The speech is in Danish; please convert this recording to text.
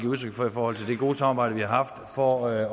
udtryk for i forhold til det gode samarbejde vi har haft for at